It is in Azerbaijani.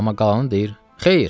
Amma qalanı deyir: Xeyr.